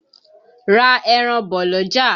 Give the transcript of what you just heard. Ra ẹran bọ̀ l'ọ́jà!